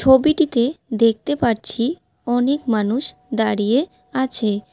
ছবিটিতে দেখতে পারছি অনেক মানুষ দাঁড়িয়ে আছে।